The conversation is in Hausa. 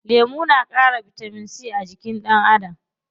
Lemu na ƙara bitamin c a jikin ɗan Adam.